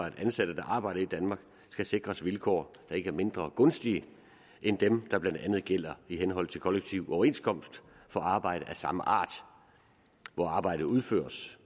at ansatte der arbejder i danmark skal sikres vilkår der ikke er mindre gunstige end dem der bla gælder i henhold til kollektiv overenskomst for arbejde af samme art hvor arbejdet udføres